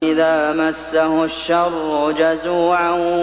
إِذَا مَسَّهُ الشَّرُّ جَزُوعًا